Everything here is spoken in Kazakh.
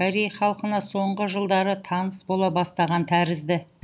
корей халқына соңғы жылдары таныс бола бастаған тәрізді